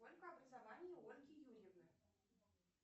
сколько образований у ольги юрьевны